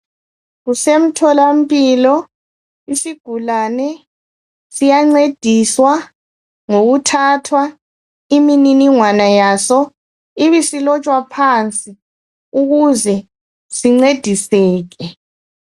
Kusemtholampilo, isigulane siyancediswa ngokuthathwa imininingwane yaso ibisilotshwa phansi ukuze sincediseke.